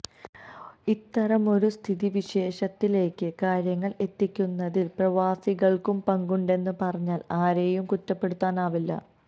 ഇത്തരമൊരു സ്ഥിതിവിശേഷത്തിലേക്ക് കാര്യങ്ങൾ എത്തിക്കുന്നതിൽ പ്രവാസികൾക്കും പങ്കുണ്ടെന്നു പറഞ്ഞാൽ ആരേയും കുറ്റപ്പെടുത്താനാവില്ല